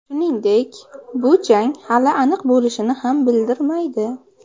Shuningdek, bu jang hali aniq bo‘lishini ham bildirmaydi.